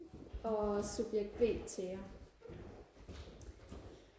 og subjet b Thea